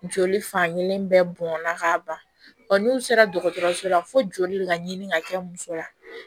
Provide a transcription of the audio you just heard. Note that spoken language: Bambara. Joli fan kelen bɛɛ bɔnna k'a ban n'u sera dɔgɔtɔrɔso la fo joli ka ɲini ka kɛ musoya